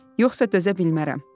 Yoxsa dözə bilmərəm.